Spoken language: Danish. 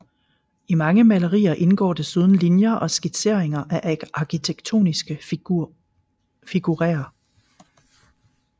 I mange malerier indgår desuden linjer og skitseringer af arkitektoniske figurerer